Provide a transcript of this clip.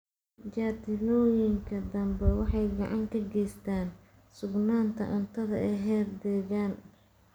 Jardiinooyinka dambe waxay gacan ka geystaan ??sugnaanta cuntada ee heer deegaan.